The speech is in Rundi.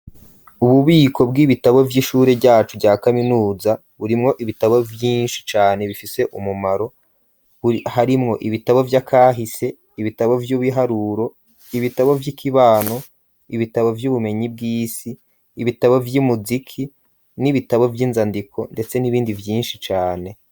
Ububiko bw'ibitabo vy'ishure ryacu rya kaminuza burimwo ibitabo vyinshi cane bifise umumaro harimwo ibitabo bya kahise ibitabo by'ubiharuro ibitabo vy'ikibano ibitabo vy'ubumenyi bw'isi ibitabo by'imuziki n'ibitabo vy'inzandiko ndetse n'ibindi byinshi cane.